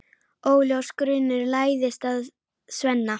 Óljós grunur læðist að Svenna.